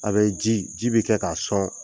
A bɛ ji ji bɛ kɛ k'a sɔn.